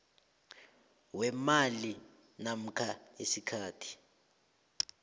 weemali namkha isikhathi